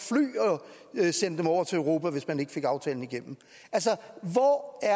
sende dem over til europa hvis man ikke fik aftalen igennem altså hvor er